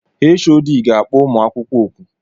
Hod ga-akpọ ụmụakwụkwọ ọkụ